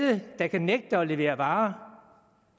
der kan nægte at levere varer